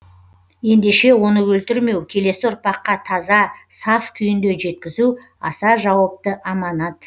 ендеше оны өлтірмеу келесі ұрпаққа таза саф күйінде жеткізу аса жауапты аманат